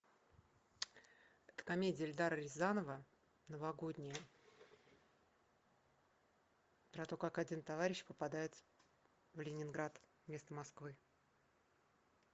это комедия эльдара рязанова новогодняя про то как один товарищ попадает в ленинград вместо москвы